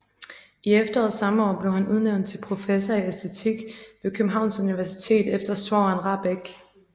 I efteråret samme år blev han udnævnt til professor i æstetik ved Københavns Universitet efter svogeren Rahbek